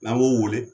N'an b'o wele